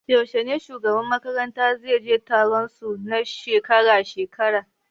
Yaushe ne shugaban makaranta zai je taron su na shekara-shekara?